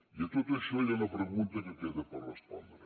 i a tot això hi ha una pregunta que queda per respondre